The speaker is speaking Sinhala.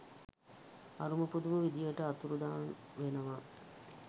අරුම පුදුම විදිහට අතුරුදහන් වෙනවා.